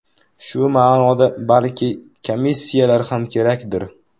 Shu ma’noda balki komissiyalar ham kerakdir.